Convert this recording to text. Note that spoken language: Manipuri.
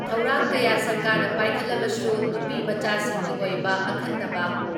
ꯊꯧꯔꯥꯡ ꯀꯌꯥ ꯁꯔꯀꯥꯔꯅ ꯄꯥꯏꯈꯠꯂꯕꯁꯨ ꯅꯨꯄꯤꯃꯆꯥꯁꯤꯡꯒꯤ ꯑꯣꯏꯕ ꯑꯈꯟꯅꯕ